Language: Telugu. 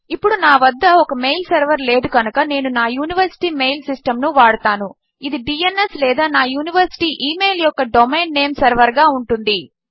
ఇప్పుడు నా వద్ద ఒక మెయిల్ సెర్వర్ లేదు కనుక నేను నా యూనివర్సిటీ ఇమెయిల్ సిస్టమ్ ను వాడతాను ఇది డ్న్స్ లేదా నా యూనివర్సిటీ ఇమెయిల్ యొక్క డొమైన్ నేమ్ సెర్వర్ గా ఉంటుంది